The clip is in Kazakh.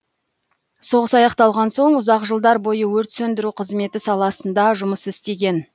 соғыс аяқталған соң ұзақ жылдар бойы өрт сөндіру қызметі саласында жұмыс істеген